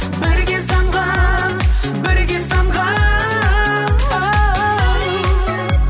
бірге самғап бірге самғап оу